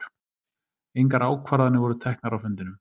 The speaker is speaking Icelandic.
Engar ákvarðanir voru teknar á fundinum